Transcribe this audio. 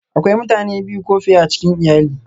Akwai mutane biyu ko fiye a cikin iyali